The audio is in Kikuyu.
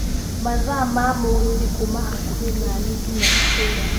mathaa ma mũgithi kuuma hakũhi naniĩ nginya itũra